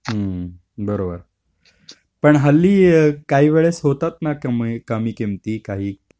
हम्म बरोबर. पण हल्ली काही वेळेस होतात ना कमी किमती काही.